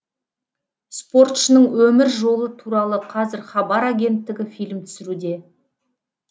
спортшының өмір жолы туралы қазір хабар агенттігі фильм түсіруде